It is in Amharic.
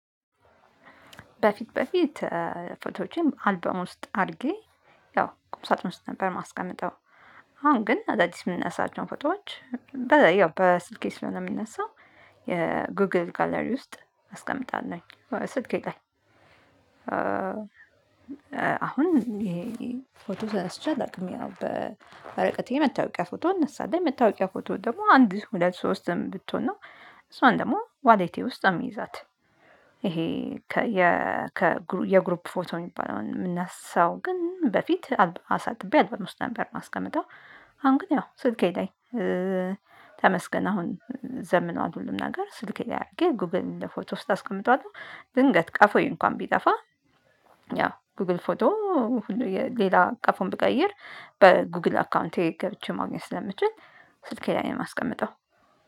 በፊት በፊት ፎቶዎቼም አልበም ውስጥ አድርጌ ያው ቁምሳጥን ውስጥ ነበር ማስቀመጠው። አሁን ግን አዳዲስ የምንነሳቸውን ፎቶዎች ያው በስልኬ ስለሆነ የምነሳው የጎግል ጋለሪ ውስጥ አስቀምጣለሁ ስልኬ ላይ። አሁን ይሄ ፎቶ ተነስቼ አላውቅም ያው በወረቀት ላይ የመታወቂያ ፎቶ እነሳለሁ የመታወቂያ ፎቶ ደግሞ አንድ ሁለት ሶስትም ብትሆን ነው እሷን ደግሞ ዋሌቴ ውስጥ አምይዛት። ይሄ ከየ የግሩፕ ፎቶ የሚባለውን የምንነሳው ግን በፊት አሳጥቤ አልበም ውስጥ ነበር የማስቀምጠው። አሁን ግን ያው ስልኬ ላይ ተመስገን አሁን ዘምኗል ሁሉም ነገር ስልኬ ላይ አድርጌ ጉግል እንደ ፎቶ ውስጥ አስቀምጠዋልሁ። ድንገት ቀፎዬ እንኳን ቢጠፋ ያው ጉግል ፎቶ ሌላ ቀፎም ብቀይር በጉግል አካውንቴ ገብቼ ማግኘት ስለምችል ስልኬ ላይ የማስቀምጠው